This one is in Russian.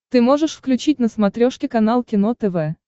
ты можешь включить на смотрешке канал кино тв